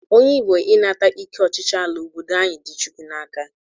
Onye Igbo ịnata ike ọchịchị ala obodo anyị dị Chukwu n'aka